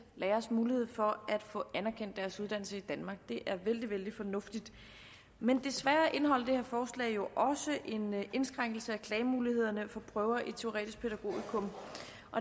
læreres mulighed for at få anerkendt deres uddannelse i danmark det er vældig vældig fornuftigt men desværre indeholder det her forslag jo også en indskrænkelse af klagemulighederne for prøver i teoretisk pædagogikum